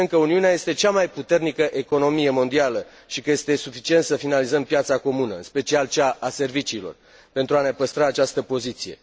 Spunem că Uniunea este cea mai puternică economie mondială și că este suficient să finalizăm piața comună, în special cea a serviciilor, pentru a ne păstra această poziție.